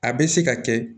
A bɛ se ka kɛ